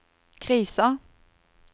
krisa